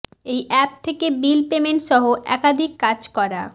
এই অ্যাপ থেকে bill payment সহ একাধিক কাজ করা